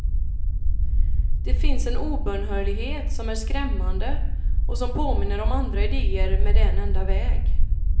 Det finns en obönhörlighet som är skrämmande och som påminner om andra idéer med en enda väg.